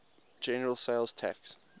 general sales tax